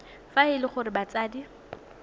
fa e le gore batsadi